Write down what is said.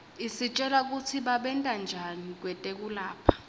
isitjela kutsi babentanjani kwetekulapha